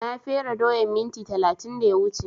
Na fere doyan minti talatin da ya wuce